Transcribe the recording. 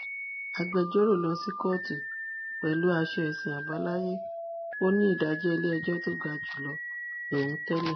agbẹjọrò ló sì kóòtù pẹlú aṣọ ẹsìn àbáláyé ó ní ìdájọ iléẹjọ tó ga jù lọ lòun tẹlẹ